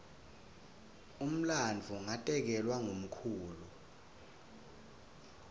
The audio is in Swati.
umlandvo ngatekelwa ngumkhulu